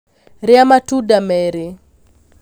Rĩa matunda merĩ